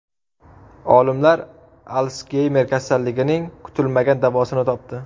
Olimlar Alsgeymer kasalligining kutilmagan davosini topdi.